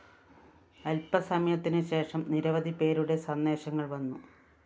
അല്‍പ്പസമയത്തിനുശേഷം നിരവധിപേരുടെ സന്ദേശങ്ങള്‍ വന്നു